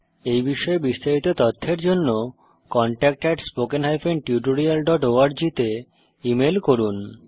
এই বিষয়ে বিস্তারিত তথ্যের জন্য contactspoken tutorialorg তে ইমেল করুন